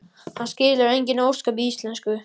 Hann skilur engin ósköp í íslensku.